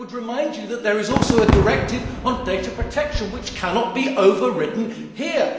I would remind you that there is also a directive on data protection which cannot be overridden here.